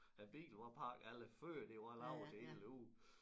Æ bil var pakket alt det før det var lavet til hele æ uge